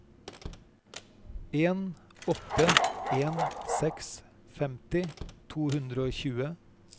en åtte en seks femti to hundre og tjue